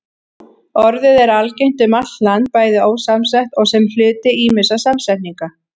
Orðið er algengt um allt land, bæði ósamsett og sem hluti ýmissa samsetninga.